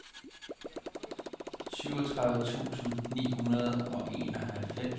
syvogtredive tusind ni hundrede og enoghalvfems